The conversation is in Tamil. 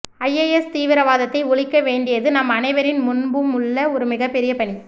ஐஎஸ் தீவிரவாதத்தை ஒழிக்க வேண்டியது நம் அனைவரின் முன்பும் உள்ள மிகப் பெரிய பணி